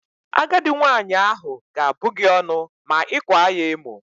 Agadi nwaanyị ahụ ga-abụ gị ọnụ ma ị kwaa ya emo.